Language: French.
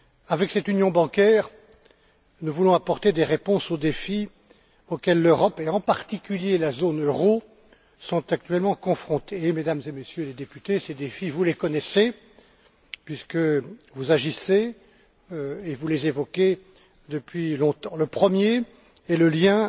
Avec cette union bancaire, nous voulons apporter des réponses aux défis auxquels l'Europe et, en particulier, la zone euro sont, actuellement confrontées. Mesdames et Messieurs les députés, ces défis vous les connaissez, puisque vous agissez et vous les évoquez depuis longtemps. Le premier concerne le lien